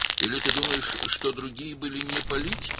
Yoxsa sən elə bilirsən ki, başqaları siyasətçi deyildi?